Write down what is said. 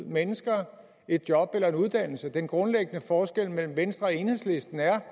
mennesker et job eller en uddannelse den grundlæggende forskel mellem venstre og enhedslisten er